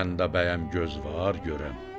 Məndə bəyəm göz var görəm?